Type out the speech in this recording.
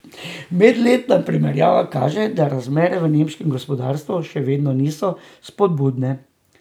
Medletna primerjava kaže, da razmere v nemškem gospodarstvu še vedno niso spodbudne.